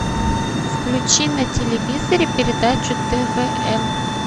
включи на телевизоре передачу твм